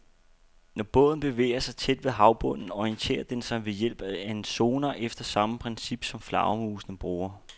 Når båden bevæger sig tæt ved havbunden, orienterer den sig ved hjælp af en sonar efter samme princip, som flagermusene bruger.